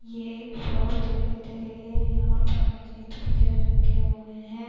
یہ ایک شاپ دکھائی دے رہی ہے۔ یہا پر مزید پنجرے رکھے ہوئے ہے۔